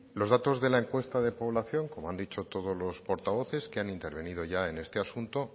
los datos de la encuesta de población como han dicho todos los portavoces que han intervenido ya en este asunto